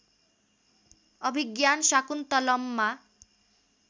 अभिज्ञान शाकुन्तलममा